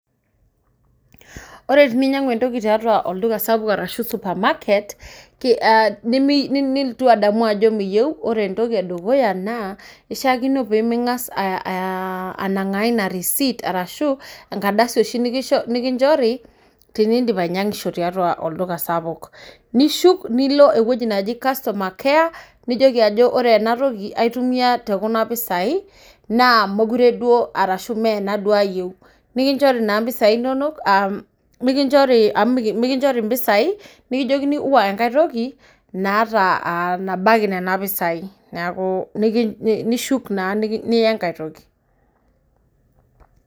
Ore teninyang'u entoki tiatua olduka sapuk araashu supermarket nilotu adamu ajo miyeu, ore entoki e dukuya naa ishaakino pining'as anangaa ina risiit arashu enkardasi oashi nikinchori tiniidnip ainyang'isho tiatua olduka sapukj, nishuk nilo eweji naji customer care, niliki ajo ore enatoki, aitumiya te kuna mpisai naa mekure duo arashu mee ena duo ayeu, nikinchori naa mpisaii inono amu mikinchori mpisai nikijokini wua enkae toki naata ,nabaki nena mpisai, naaku nishuk naa niya enkae toki.